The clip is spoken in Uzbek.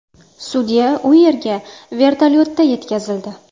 Sudya u yerga vertolyotda yetkazildi.